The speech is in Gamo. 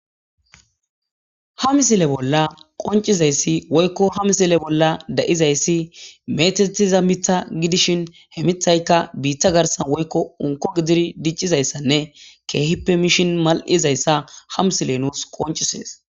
Ha missile bolla qoncizaysi woyko ha misile bolla de'izaysi mettetiza miththa gidishin he miththayka bitta garsan woyko unko gididi dicizaysanne kehippe mishin mal'iaaysa ha Miley nus qonc'ises.